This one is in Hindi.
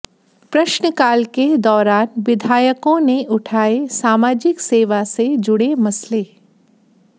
प्रश्नकाल के दौरान विधायकों ने उठाए सामाजिक सेवा से जुड़े मसले